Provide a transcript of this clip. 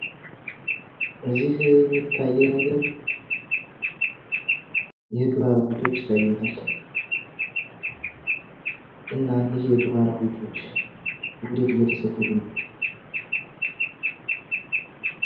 እዚህ የሚታየኝ ነገር የዱር አራዊቶች ይታዩኛል። እና እነኝህ የዱር አራዊቶች ወዴት እየተሰደዱ ነው?